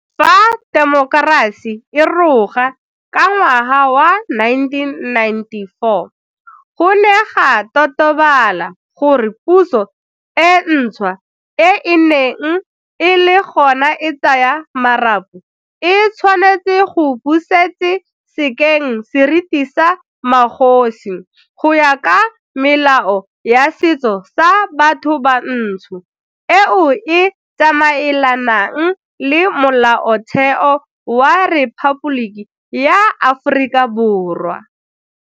Fa temokerasi e roga ka ngwaga wa 1994, go ne ga totobala gore puso e ntšhwa e e neng e le gona e tsaya marapo e tshwanetse go busetse sekeng seriti sa magosi go ya ka melao ya setso sa batho bantsho eo e tsamaelanang le Molaotheo wa Rephaboliki ya Aforika Borwa.